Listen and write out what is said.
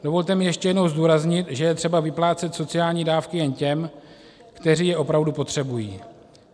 Dovolte mi ještě jednou zdůraznit, že je třeba vyplácet sociální dávky jen těm, kteří je opravdu potřebují.